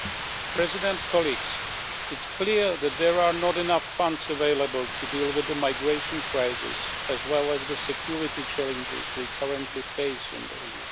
Mr President, it is clear that there are not enough funds available to deal with the migration crisis as well as the security challenges we currently face in the EU.